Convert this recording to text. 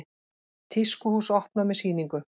Tískuhús opnað með sýningu